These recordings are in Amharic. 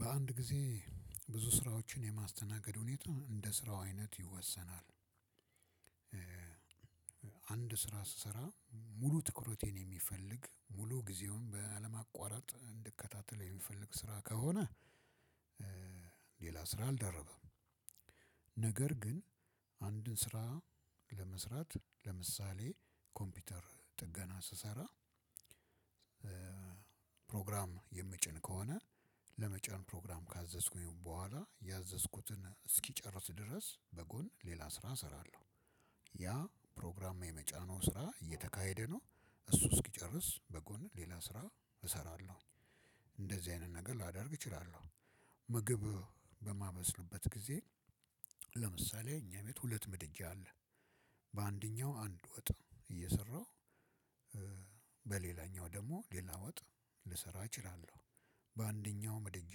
በአንድ ጊዜ ብዙ ስራዎችን የማስተናገድ ሁኔታ እንደ ስራው አይነት ይወሰናል። አንድ ስራ ስሰራ ሙሉ ትኩረቴን የሚፈልግ ሙሉ ጊዜውን በአለሟቋረጥ እንድከታተል የሚፈልግ ስራ ከሆነ። ሌላ ስራ አልደርብም። ነገር ግን አንድን ስራ ለመስራት ለምሳሌ ኮምፒውተር ጥገና ስሰራ። ፕሮግራም የምጭን ከሆነ ለመጫን ፕሮግራም ካዘዝኩኝ በኋላ ያዘዝኩትን እስኪጨርስ ድረስ በጎን ሌላ ስራ እሰራለሁ። ያ ፕሮግራም የመጫነው ስራ እየተካሄደ ነው። እሱ እስኪጨርስ በጎን ሌላ ስራ እሰራለሁ። እንደዚህ አይነት ነገር ላደርግ እችላለሁ። ምግብ በማበስልበት ጊዜ ለምሳሌ እኛ ቤት ሁለት ምድጃ አለ። በአንደኛው አንድ ወጥ እየሰራሁ በሌላኛው ደግሞ ሌላ ወጥ ልሰራ እችላለሁ። በአንደኛው ምድጃ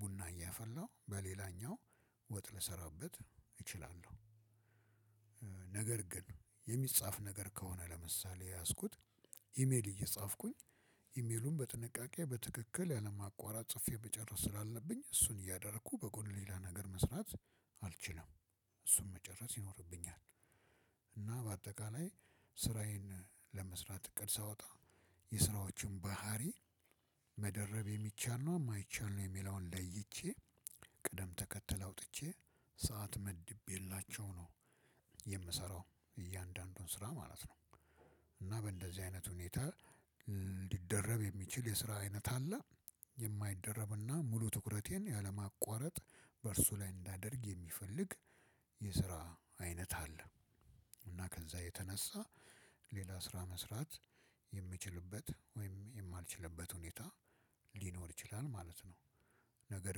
ቡና እያፈላው በሌላኛው ወጥ ልሰራበት እችላለሁ። ነገር ግን የሚጻፍ ነገር ከሆነ ለምሳሌ የያዝኩት ኢሜል እየጻፍኩኝ ኢሜሉን በጥንቃቄ በትክክል ያለማአቋረጥ ጽፌ መጨረስ ስላለብኝ እሱን እያደረኩ በጎን ሌላ ነገር መስራት አልችልም። እሱን መጨረስ ይኖርብኛል። እና በአጠቃላይ ስራዬን ለመስራት እቅድ ሳወጣ የስራዎቹን ባህሪ መደረብ የሚቻል ነው የማይቻል ነው የሚለውን ለይቼ ቅደም ተከትለህ አውጥቼ ሰዓት መድቤላቸው ነው የምሰራው። እያንዳንዱን ስራ ማለት ነው። እና በእንደዚህ አይነት ሁኔታ ሊደረብ የሚችል የስራ አይነት አለ። የማይደረብና ሙሉ ትኩረቴን ያለማቋረጥ በእርሱ ላይ እንዳደርግ የሚፈልግ የስራ አይነት አለ። እና ከዛ የተነሳ ሌላ ስራ መስራት የምችልበት ወይም የማልችልበት ሁኔታ ሊኖር ይችላል ማለት ነው። ነገር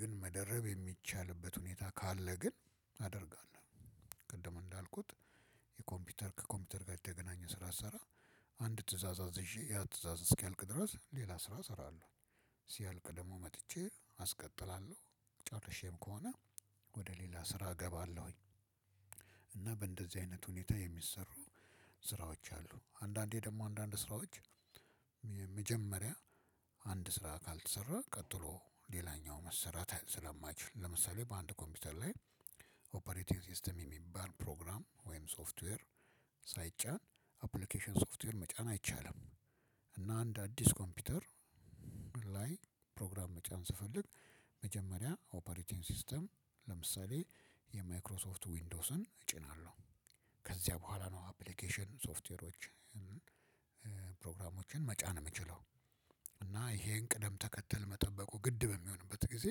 ግን መደረብ የሚቻልበት ሁኔታ ካለ ግን አደርጋለሁ። ቅድም እንዳልኩት ከኮምፒውተር ጋር የተገናኘ ስራ ስሰራ አንድ ትእዛዝ አዝዤ ያ ትእዛዝ እስኪያልቅ ድረስ ሌላ ስራ እሰራለሁ። ሲያልቅ ደግሞ መጥቼ አስቀጥላለሁ ጨርሼም ከሆነ ወደ ሌላ ስራ እገባለሁኝ። እና በእንደዚህ አይነት ሁኔታ የሚሰሩ ስራዎች አሉ አንዳንዴ ደግሞ አንዳንድ ስራዎች መጀመሪያ አንድ ስራ ካልተሰራ ቀጥሎ ሌላኛው መሰራት ስለማይችል ለምሳሌ በአንድ ኮምፒውተር ላይ ኦፕሬቲንግ ሲስተም የሚባል ፕሮግራም ወይም ሶፍትዌር ሳይጫን አፕሊኬሽን ሶፍትዌር መጫን አይቻልም። እና አንድ አዲስ ኮምፒውተር ላይ ፕሮግራም መጫን ስፈልግ መጀመሪያ ኦፕሬቲንግ ሲስተም ለምሳሌ የማይክሮሶፍት ዊንዶስን እጭናለሁ። ከዚያ በኋላ ነው አፕሊኬሽን ሶፍትዌሮችን መጫን የምችለው። እና ይሄን ቅደም ተከተል መጠበቁ ግድ በሚሆንበት ጊዜ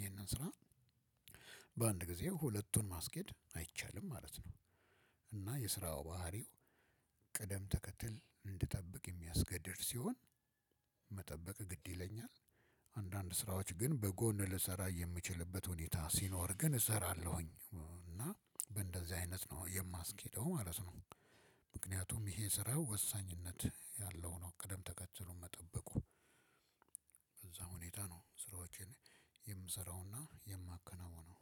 ይሄንን ስራ በአንድ ጊዜ ሁለቱን ማስኬድ አይቻልም ማለት ነው። እና የስራው ባህሪው ቅደም ተከትል እንድጠብቅ የሚያስገድድ ሲሆን መጠበቅ ግድ ይለኛል። አንዳንድ ስራዎች ግን በጎን ልሰራ የምችልበት ሁኔታ ሲኖር ግን እሰራለሁኝ እና በእንደዚህ አይነት ነው የማስኬደው ማለት ነው። ምክንያቱም ይሄ ስራ ወሳኝነት ያለው ነው። ቅደም ተከትሉን መጠበቁ በዛ ሁኔታ ነው ስራዎቼን የምሰራውና የማከናውነው